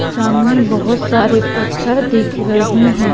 सामने बहुत सारे पत्थर दिख रहे हैं।